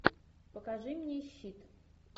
покажи мне щит